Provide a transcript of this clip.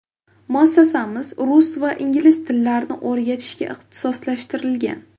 Muassasamiz rus va ingliz tillarini o‘rgatishga ixtisoslashtirilgan.